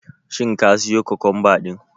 Shin ka siyo kokomba din?